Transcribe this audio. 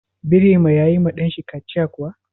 Birema ya yi ma ɗan shi kaciya kuwa?